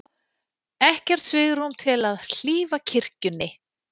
Ekkert svigrúm til að hlífa kirkjunni